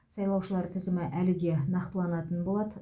сайлаушылар тізімі әлі де нақтыланатын болады